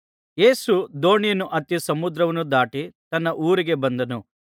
ಯೇಸು ದೋಣಿಯನ್ನು ಹತ್ತಿ ಸಮುದ್ರವನ್ನು ದಾಟಿ ತನ್ನ ಊರಿಗೆ ಬಂದನು